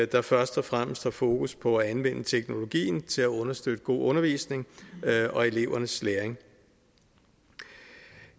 der først og fremmest har fokus på at anvende teknologien til at understøtte god undervisningen og elevernes læring